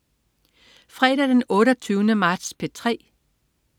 Fredag den 28. marts - P3: